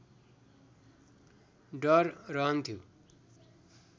डर रहन्थ्यो